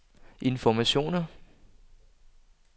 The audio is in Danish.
informationer